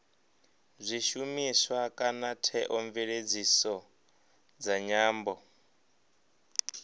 zwishumiswa kana theomveledziso dza nyambo